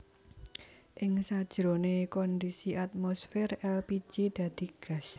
Ing sajroné kondisi atmosfer èlpiji dadi gas